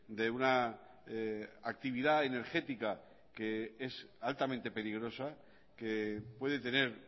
de una actividad energética que es altamente peligrosa que puede tener